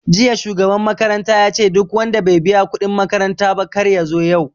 Jiya shugaban makaranta yace duk wanda bai biya kuɗin makaranta ba kar yazo yau